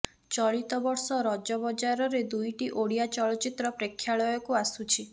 ଚଳିତବର୍ଷ ରଜ ବଜାରରେ ଦୁଇଟି ଓଡିଆ ଚଳଚ୍ଚିତ ପ୍ରେକ୍ଷାଳୟକୁ ଆସୁଛି